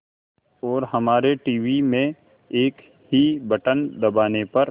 और हमारे टीवी में एक ही बटन दबाने पर